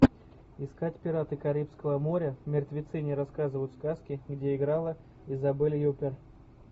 искать пираты карибского моря мертвецы не рассказывают сказки где играла изабель юппер